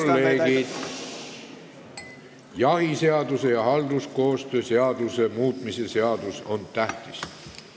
Head kolleegid, jahiseaduse ja halduskoostöö seaduse muutmise seadus on tähtis.